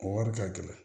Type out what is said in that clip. O wari ka gɛlɛn